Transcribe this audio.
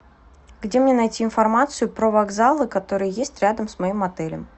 где мне найти информацию про вокзалы которые есть рядом с моим отелем